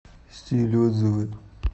стиль отзывы